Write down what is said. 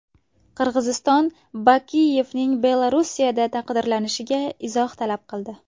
Qirg‘iziston Bakiyevning Belorussiyada taqdirlanishiga izoh talab qildi.